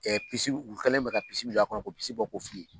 Aw o kɔnɔna na an b'a de kɔnɔna na ɛ u kɛlen do ka min don a kɔnɔ k'o bɔ k'o fili